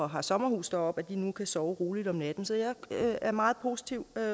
har sommerhus deroppe nu kan sove roligt om natten så jeg er meget positiv